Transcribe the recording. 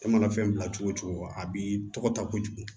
E mana fɛn bila cogo o cogo a b'i tɔgɔ ta kojugu